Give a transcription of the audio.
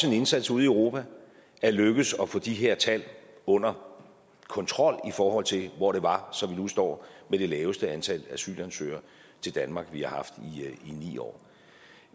en indsats ude i europa er lykkedes at få de her tal under kontrol i forhold til hvor det var så vi nu står med det laveste antal asylansøgere til danmark vi har haft i ni år